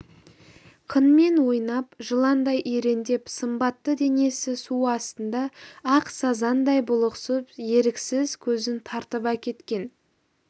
қынмен ойнап жыландай иреңдеп сымбатты денесі су астында ақ сазандай бұлықсып еріксіз көзін тартып әкеткен